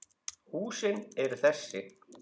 Húsin eru þessi